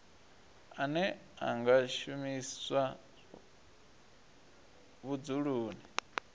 ane a nga shumiswa vhudzuloni